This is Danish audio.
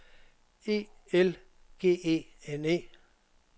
E L G E N E